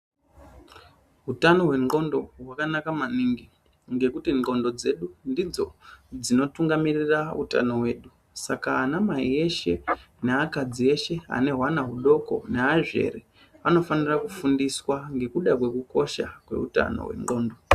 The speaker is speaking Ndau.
Utano hwendxondo hwakanaka maningi ngekuti ndxondo dzedu ndidzo dzinotungamirira utano hwedu. Saka anamai eshe neakadzi eshe ane hwana hudoko neazvere anofanira kufundiswa ngekuda kwekukosha kweutano wendxondo.